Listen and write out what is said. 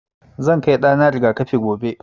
Zan kai ɗa na riga-kafi gobe.